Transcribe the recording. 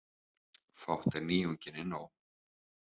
Fátt er nýjunginni nóg.